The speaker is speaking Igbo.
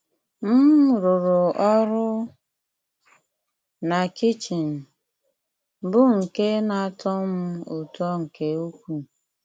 M rụrụ ọrụ na kichin, bụ́ nke na-atọ m ụtọ nke ukwuu.